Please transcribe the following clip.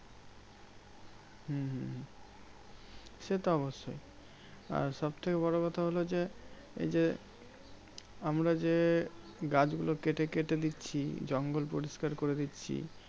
হম হম হম সেতো অবশ্যই। আর সব থেকে বোরো কথা হলো যে, এই যে আমরা যে গাছগুলো কেটে কেটে দিচ্ছি, জঙ্গল পরিষ্কার করে দিচ্ছি